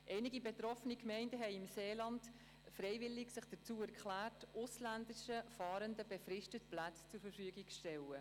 Einige betroffene Gemeinden im Seeland haben sich freiwillig bereit erklärt, ausländischen Fahrenden befristet Plätze zur Verfügung zu stellen.